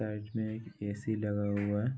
Side में एक AC. लगा हुआ है।